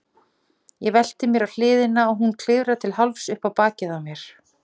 Ég velti mér á hliðina og hún klifrar til hálfs upp á bakið á mér.